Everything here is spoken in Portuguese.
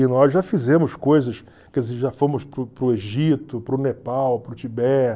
E nós já fizemos coisas, quer dizer, já fomos para o para o Egito, para o Nepal, para o Tibete.